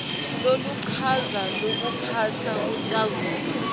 loluchaza lokuphatsa kutakuba